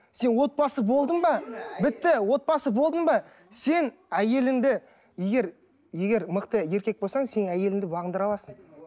сен отбасы болдың ба бітті отбасы болдың ба сен әйеліңді егер егер мықты еркек болсаң сен әйеліңді бағындыра аласың